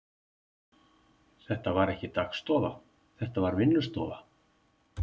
Þetta var ekki dagstofa, þetta var vinnustofa.